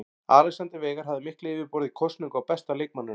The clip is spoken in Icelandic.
Alexander Veigar hafði mikla yfirburði í kosningu á besta leikmanninum.